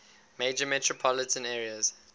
major metropolitan areas